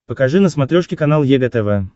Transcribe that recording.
покажи на смотрешке канал егэ тв